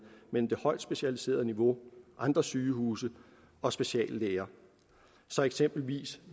mellem det højt specialiserede niveau andre sygehuse og speciallæger så eksempelvis